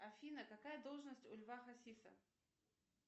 афина какая должность у льва хасиса